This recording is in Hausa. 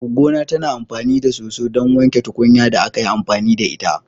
Goggona tana amfani da soso ɗon wanke tukunyar da aka yi amfani da ita.